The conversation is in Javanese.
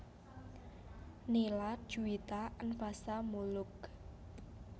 Nila Djuwita Anfasa Moeloek